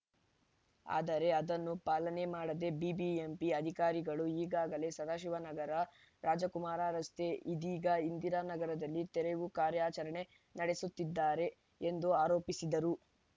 ಆದರೆ ಅದನ್ನು ಪಾಲನೆ ಮಾಡದೆ ಬಿಬಿಎಂಪಿ ಅಧಿಕಾರಿಗಳು ಈಗಾಗಲೇ ಸದಾಶಿವನಗರ ರಾಜಕುಮಾರ್‌ ರಸ್ತೆ ಇದೀಗ ಇಂದಿರಾ ನಗರದಲ್ಲಿ ತೆರವು ಕಾರ್ಯಾಚರಣೆ ನಡೆಸುತ್ತಿದ್ದಾರೆ ಎಂದು ಆರೋಪಿಸಿದರು